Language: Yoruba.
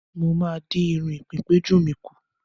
Mo máa dín irun ìpéǹpéjú mi kù.